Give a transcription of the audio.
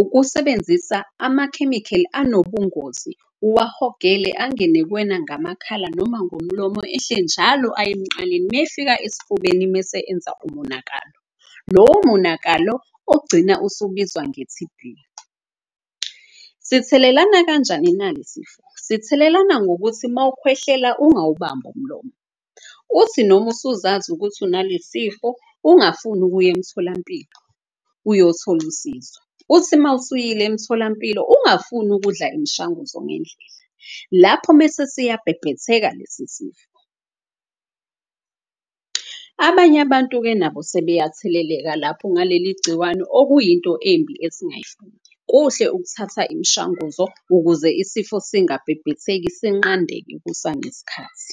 Ukusebenzisa amakhemikheli anobungozi uwahogele, angene kuwena ngamakhala noma ngomlomo. Ehle njalo aye emqaleni mayefika esifubeni mese enza umonakalo. Lowo monakalo ogcina usubizwa nge-T_B. Sithelelana kanjani na le sifo? Sithelelana ngokuthi mawukhwehlela ungawubambi umlomo. Uthi noma usuzazi ukuthi unalesifo ungafuni ukuya emtholampilo uyothola usizo. Uthi mawusuyile emtholampilo ungafuni ukudla imshanguzo ngendlela, lapho mese siyabhebhetheka lesi sifo. Abanye abantu-ke nabo sebeyatheleleka lapho ngaleli gciwane okuyinto embi . Kuhle ukuthatha imishanguzo ukuze isifo singabhebhetheki sinqandeke kusaneskhathi.